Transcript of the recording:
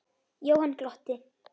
Jóhann glotti.